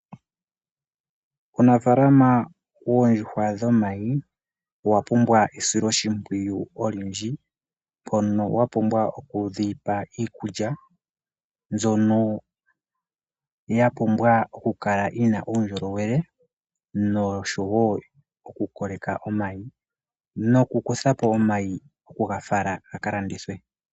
Uunafalama woondjuhwa dhomayi owa pumbwa esiloshipwiyu olindji. Odha pumbwa okupewa iikulya mbyoka yina uundjolowele nokukoleka omayi oshowo okuga kuthapo ga kalandithwe.